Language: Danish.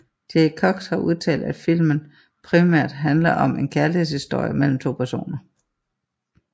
Jay Cox har udtalt at filmen primært handler om en kærlighedshistorie mellem to personer